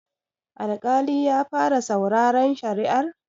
Alƙali ya fara sauraren shari'ar?